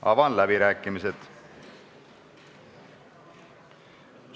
Avan läbirääkimised.